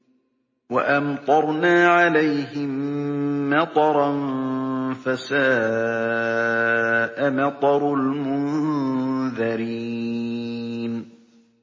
وَأَمْطَرْنَا عَلَيْهِم مَّطَرًا ۖ فَسَاءَ مَطَرُ الْمُنذَرِينَ